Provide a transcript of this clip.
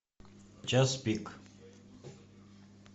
час пик